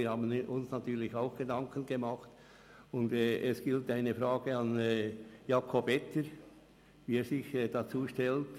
Wir haben uns natürlich auch Gedanken gemacht, und es gilt eine Frage an Jakob Etter zu richten, nämlich, wie er sich dazu stellt.